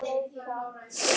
Þá er meira í gangi.